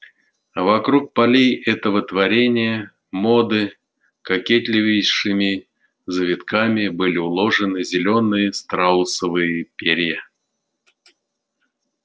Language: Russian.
а вокруг полей этого творения моды кокетливейшими завитками были уложены зелёные страусовые перья